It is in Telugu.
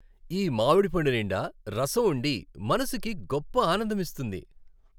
ఈ మామిడిపండు నిండా రసం ఉండి మనసుకి గొప్ప ఆనందమిస్తుంది.